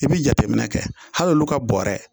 I bi jateminɛ kɛ hal'olu ka bɔrɛ